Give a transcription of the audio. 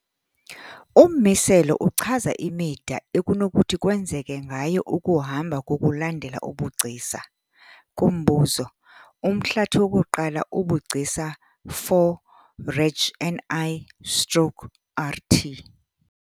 Ummiselo uchaza imida ekunokuthi kwenzeke ngayo ukuhamba ngokulandela ubugcisa. kumbuzo, umhlathi wokuqala ubugcisa. 4 reg. ni stroke rt.